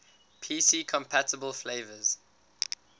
pc compatible flavors